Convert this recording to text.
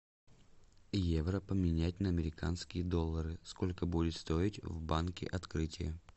евро поменять на американские доллары сколько будет стоить в банке открытие